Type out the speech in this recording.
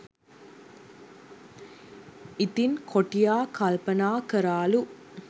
ඉතිං කොටියා කල්පනා කරාලු